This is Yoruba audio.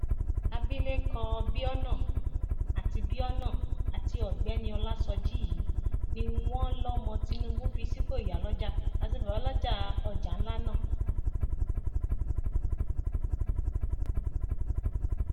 abilékọ biona àti biona àti ọgbẹni ọlásójì yìí ni wọn lọmọ tìnúbù fi sípò ìyálójà àti babálójà ọjà ńlá náà